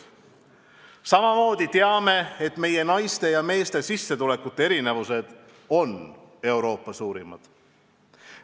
Samamoodi teame, et meie naiste ja meeste sissetulekute erinevused on Euroopa suurimad.